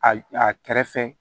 A a kɛrɛfɛ